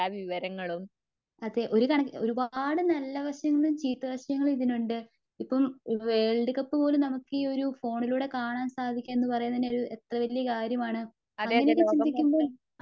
അതെ ഒരുകണക്കിന് ഒരുപാടു നല്ലവശങ്ങളും ചീത്ത വശങ്ങളും ഇതിനുണ്ട്. ഇപ്പം വേൾഡ് കപ്പുപോലും നമുക്ക് ഈ ഒരു ഫോണിലൂടെ കാണാൻ സാദിക്കുവാന്നുപറയുന്നതു തന്നെ ഒരു എത്ര കാര്യമാണ്. അങ്ങനെയൊക്കെ ചിന്തിക്കുമ്പോൾ